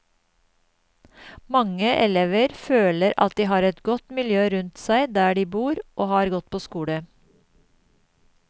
Mange elever føler at de har et godt miljø rundt seg der de bor og har gått på skole.